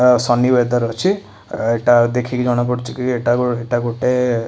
ଏଁ sunny weather ଅଛି ଏଟା ଦେଖିକି ଜଣା ପଡ଼ୁଚି କି ଏଟା ଏଟା ଗୋଟେ --